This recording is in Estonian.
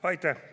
Aitäh!